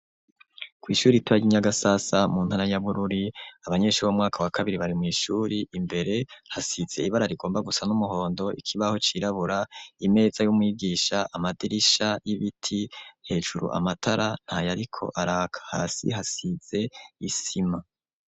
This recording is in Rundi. Kw'ishuri itaya inyagasasa mu ntana yabururi abanyenshui b'umwaka wa kabiri bari mw'ishuri imbere hasize ibara rigomba gusa n'umuhondo ikibaho cirabura imeza y'umwigisha amadirisha y'ibiti hejuru amatara nta yariko araka hasi hasize isima.